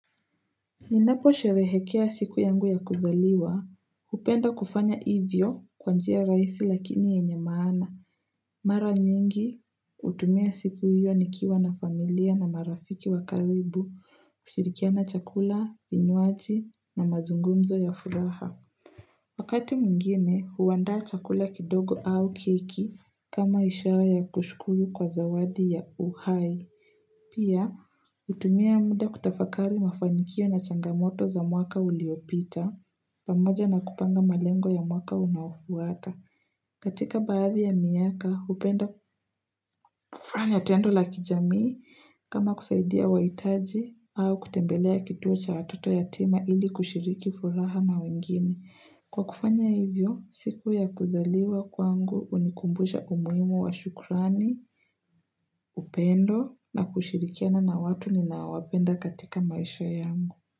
Ninapo sherehekea siku yangu ya kuzaliwa hupenda kufanya ivyo kwanjia raisi lakini yenye maana mara nyingi utumia siku hiyo nikiwa na familia na marafiki wakaribu kushirikia na chakula vinywaji na mazungumzo ya furaha Wakati mungine huwanda chakula kidogo au keiki kama ishara ya kushkuyu kwa zawadi ya uhai Pia, utumia munda kutafakari mafanyikio na changamoto za mwaka uliopita, pamoja na kupanga malengo ya mwaka unawufuata. Katika baadhi ya miaka, upenda kufanya tendo la kijamii kama kusaidia wa itaji au kutembelea kituo cha atoto ya tema ili kushiriki furaha na wengine. Kwa kufanya hivyo, siku ya kuzaliwa kwangu unikumbuja umuimu wa shukurani, upendo na kushirikiana na watu ninawapenda katika maisha yangu.